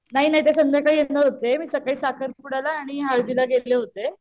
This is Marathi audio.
नाही ना ते संध्याकाळी येणार होतें मी सकाळी साकरपुड्याला आणि हळदीला गेले होतें